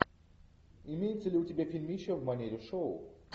имеется ли у тебя фильмище в манере шоу